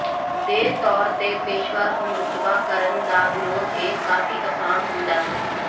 ਦੇ ਤੌਰ ਤੇ ਪੇਸ਼ੇਵਰ ਹਮਰੁਤਬਾ ਕਰਨ ਦਾ ਵਿਰੋਧ ਇਹ ਕਾਫ਼ੀ ਆਸਾਨ ਹੁੰਦਾ ਹੈ